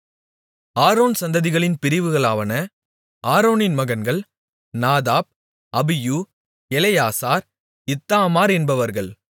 Aaron சந்ததிகளின் பிரிவுகளாவன ஆரோனின் மகன்கள் நாதாப் அபியூ எலெயாசார் இத்தாமார் என்பவர்கள்